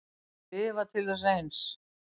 Lifa til þess eins.